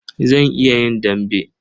Zan iya yin dambe.